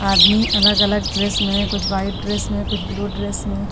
आदमी अलग अलग ड्रेस में कुछ व्हाइट ड्रेस में कुछ ब्लू ड्रेस में--